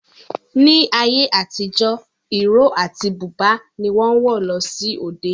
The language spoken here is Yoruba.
Ní ayé àtijọ́, ìró àti búbà ni wọ́n ń wọ̀ lọ sí òde